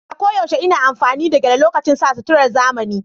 A koyaushe ina amfani da gele lokacin sa suturar zamani.